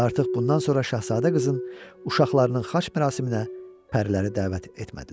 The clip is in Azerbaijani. Və artıq bundan sonra şahzadə qızın uşaqlarının xaç mərasiminə pəriləri dəvət etmədilər.